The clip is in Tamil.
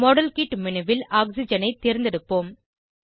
மாடல்கிட் மேனு ல் ஆக்சிஜனை தேர்ந்தெடுப்போம்